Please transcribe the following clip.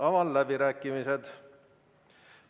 Avan läbirääkimised.